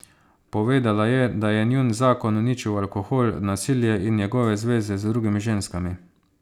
Povedala je, da je njun zakon uničil alkohol, nasilje in njegove zveze z drugimi ženskami.